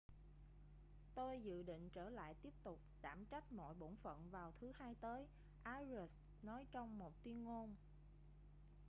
tôi dự định trở lại tiếp tục đảm trách mọi bổn phận vào thứ hai tới arias nói trong một tuyên ngôn